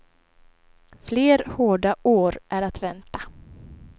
Fler hårda år är att vänta.